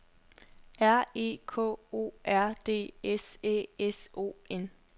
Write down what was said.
R E K O R D S Æ S O N